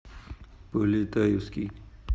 полетаевский